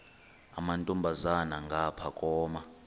amantombazana ngapha koma